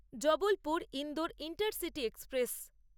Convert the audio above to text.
Jabalpur Indore intercity express